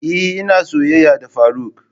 Eh ina soyayya da faruk.